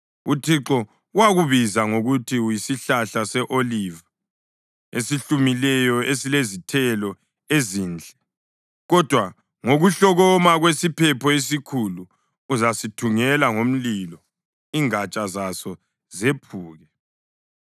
UThixo wakubiza ngokuthi uyisihlahla se-oliva esihlumileyo esilezithelo ezinhle. Kodwa ngokuhlokoma kwesiphepho esikhulu uzasithungela ngomlilo, ingatsha zaso zephuke.